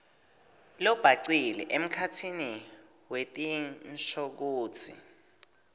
lobhacile emkhatsini wetinshokutsi